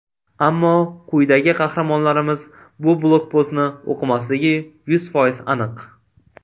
Ammo quyidagi qahramonlarimiz bu blogpostni o‘qimasligi yuz foiz aniq.